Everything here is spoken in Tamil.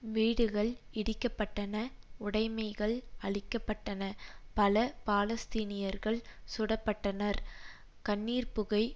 வீடுகள் இடிக்கப்பட்டன உடைமைகள் அழிக்க பட்டன பல பாலஸ்தீனியர்கள் சுடப்பட்டனர் கண்ணீர் புகை